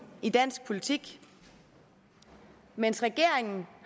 i dansk politik mens regeringen